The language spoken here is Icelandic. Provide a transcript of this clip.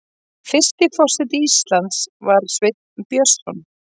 Fyrsti forseti Íslands var Sveinn Björnsson.